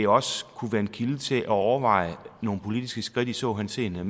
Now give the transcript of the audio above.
også kunne være en kilde til at overveje nogle politiske skridt i så henseende